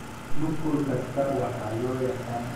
Nuqul kasta waxaa loo yaqaan allele.